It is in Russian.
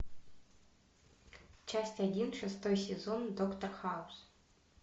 часть один шестой сезон доктор хаус